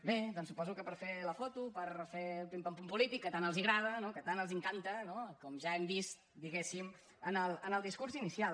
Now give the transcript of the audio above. bé doncs suposo que per fer la foto per fer el pim pam pum polític que tant els agrada no que tant els encanta com ja hem vist diguéssim en el discurs inicial